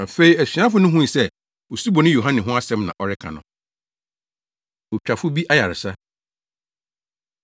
Afei asuafo no hui sɛ Osuboni Yohane ho asɛm na ɔreka no. Otwafo Bi Ayaresa